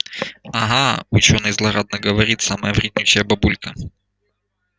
ага учёный злорадно говорит самая вреднючая бабулька